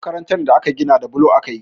Makarantar da aka gina da bulo aka yi